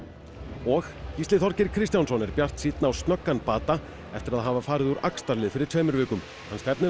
og Gísli Þorgeir Kristjánsson er bjartsýnn á snöggan bata eftir að hafa farið úr axlarlið fyrir tveimur vikum hann stefnir á